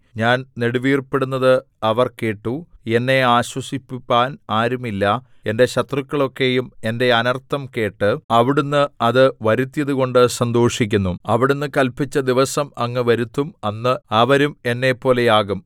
ഞാൻ നെടുവീർപ്പിടുന്നത് അവർ കേട്ടു എന്നെ ആശ്വസിപ്പിപ്പാൻ ആരുമില്ല എന്റെ ശത്രുക്കളൊക്കെയും എന്റെ അനർത്ഥം കേട്ട് അവിടുന്ന് അത് വരുത്തിയതുകൊണ്ട് സന്തോഷിക്കുന്നു അവിടുന്ന് കല്പിച്ച ദിവസം അങ്ങ് വരുത്തും അന്ന് അവരും എന്നെപ്പോലെയാകും